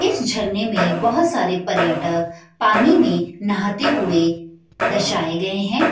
इस झरने में बहोत सारे पर्यटक पानी में नहाते हुए दर्शाये गए हैं।